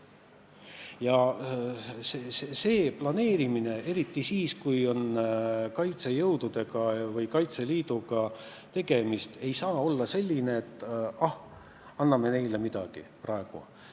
Ja see planeerimine, eriti siis, kui on kaitsejõududega või Kaitseliiduga tegemist, ei saa olla selline, et ah, anname neile praegu midagi.